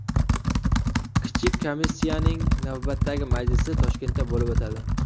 Kichik komissiyaning navbatdagi majlisi Toshkentda bo‘lib o‘tadi.